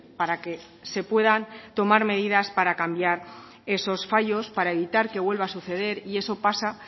para que se puedan tomar medidas para cambiar esos fallos para evitar que vuelva a suceder y eso pasa